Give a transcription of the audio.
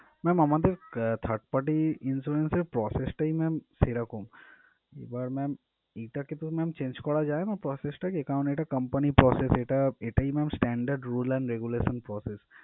ma'am আমাদের আহ third party insurance র process টাই ma'am সেরকম এবার ma'am এটাকে তো ma'am change করা যায়না process টাকে কারণ এটা company র process এটা এটাই ma'am standard rules and regulations process